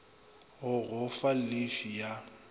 go go fa llifi ya